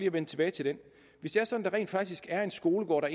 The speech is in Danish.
at vende tilbage til den hvis det er sådan rent faktisk er en skolegård der